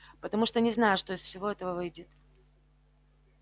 потому что не знаю что из всего этого выйдет